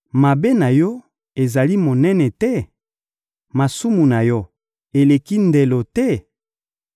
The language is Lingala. Mabe na yo ezali monene te? Masumu na yo eleki ndelo te?